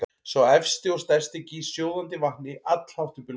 Sá efsti og stærsti gýs sjóðandi vatni allhátt upp í loftið.